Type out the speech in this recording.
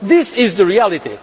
This is the reality.